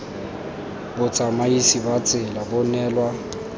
botsamaisi ba tsela bo neelwa